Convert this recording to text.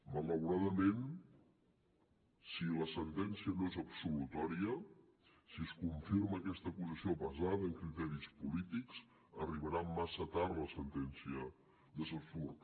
malauradament si la sentència no és absolutòria si es confirma aquesta acusació basada en criteris polítics arribarà massa tard la sentència d’estrasburg